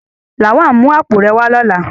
Lawal, mu apo re wa lola!